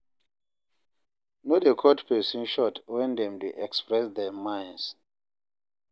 No dey cut person short when dem dey express their mind